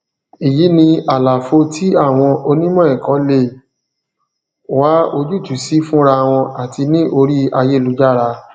èyí ni àlàfo tí àwọn onímọẹkọ lè wá ojútùú sí fúnra wọn àti ní orí ayélujára